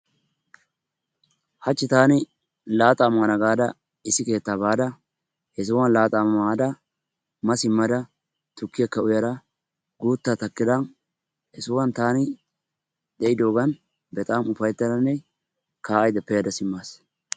Haachchi taani laaxaa mana gaada issi keettaa baada he sohuwaan laaxaa maada ma siimmada tukkiyaakka uyada guuttaa takkada he sohuwaan taani pe'idoogan bexam ufayttadanne ka"aydda pe'ada simmaas.